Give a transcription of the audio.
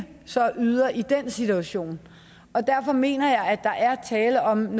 yder i den situation og derfor mener jeg at der er tale om